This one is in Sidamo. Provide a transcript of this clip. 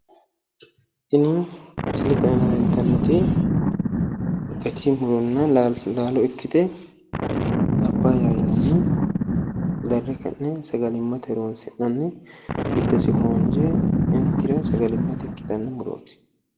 Tini misilete aana leltannot gat muronna laalo ikkite papayyaho yinanni darre ka'ne hoonje giddos intro sagalmate ikkitanno muroot